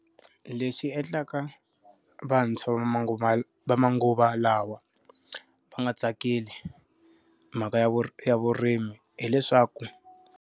Leswi endlaka vantshwa va manguva va manguva lawa va nga tsakeli mhaka ya vuri ya vurimi hileswaku.